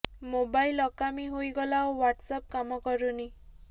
mobile ଅକାମୀ ହୋଇଗଲା ଓ ହ୍ୱାଟସ୍ ଆପ୍ କାମ କରୁନି